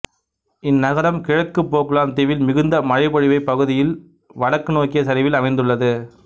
இந்நகரம் கிழக்கு போக்லாந்து தீவில் மிகுந்த மழை பொழிவுப் பகுதியில் வடக்கு நோக்கிய சரிவில் அமைந்துள்ளது